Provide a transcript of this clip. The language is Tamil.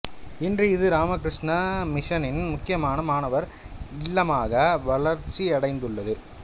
இன்று இது ராமகிருஷ்ண மிஷனின் முக்கியமான மாணவர் இல்லமாக வளர்ச்சியடைந்துள்ளது